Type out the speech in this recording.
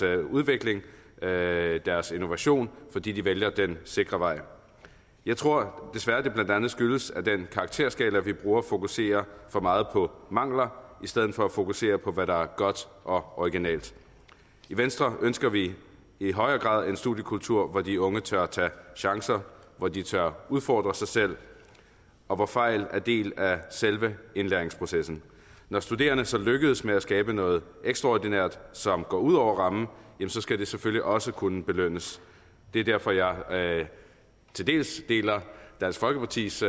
udvikling deres innovation fordi de vælger den sikre vej jeg tror desværre at det blandt andet skyldes at den karakterskala vi bruger fokuserer for meget på mangler i stedet for at fokusere på hvad der er godt og originalt i venstre ønsker vi i højere grad en studiekultur hvor de unge tør tage chancer hvor de tør udfordre sig selv og hvor fejl er en del af selve indlæringsprocessen når studerende så lykkes med at skabe noget ekstraordinært som går ud over rammen skal det selvfølgelig også kunne belønnes det er derfor jeg til dels deler dansk folkepartis